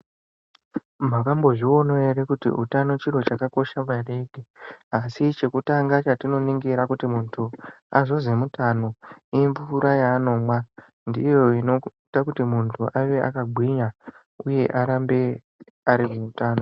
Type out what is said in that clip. Makambozvionawo ere kuti utano chiro chakakosha maningi asi chekutanga chetinoningira kuti munhu azozwi mutano imvura yaanomwa ndiyo inoita kuti munhu ave akagwinya uye arambe arimutano.